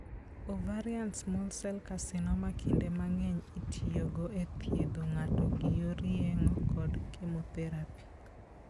Ovarian small sel carcinoma kinde mang'eny itiyogo e thiedho ng'ato gi yor yeng'o kod chemotherapy.